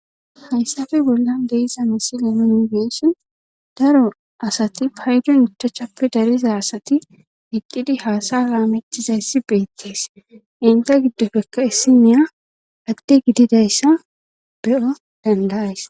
hayssafe bolla leeza misile nongeessin daro asati paydon utachappe dariza asati iqqidi haasa laamecthizayssi beettees inta giddofekka issiniya agde gididayssa be7o dandayays.